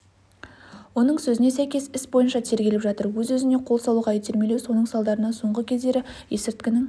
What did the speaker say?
оның сөзіне сәйкес іс бойынша тергеліп жатыр өз-өзіне қол салуға итермелеу соның салдарынан соңғы кездері есірткінің